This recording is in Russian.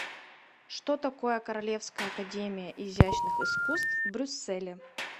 что такое королевская академия изящных искусств в брюсселе